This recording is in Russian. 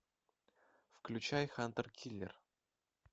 включай хантер киллер